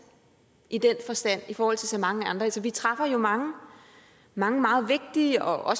i den forstand i forhold til så mange andre altså vi træffer jo mange mange meget vigtige og